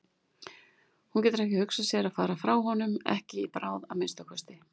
Hún getur ekki hugsað sér að fara frá honum, ekki í bráð að minnsta kosti.